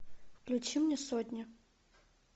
включи мне сотню